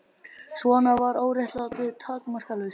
Svona var óréttlætið takmarkalaust.